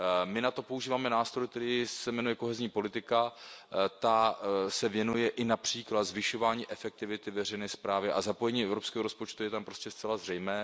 My na to používáme nástroj, který se jmenuje kohezní politika, ta se věnuje i například zvyšování efektivity veřejné správy a zapojení evropského rozpočtu je tam prostě zcela zřejmé.